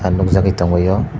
ang nug jagoi tong maio.